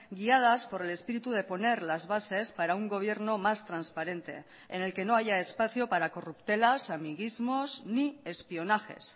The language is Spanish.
guiadas por el espíritu de poner las bases para un gobierno más transparente en el que no haya espacio para corruptelas amiguismos ni espionajes